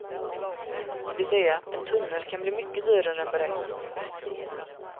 Det vill säga, en tunnel kan bli mycket dyrare än beräknat.